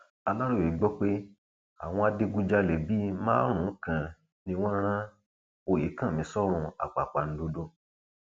aláròye gbọ pé àwọn adigunjalè bíi márùnún kan ni wọn rán ọyẹkánmi sọrùn àpàpàǹdodo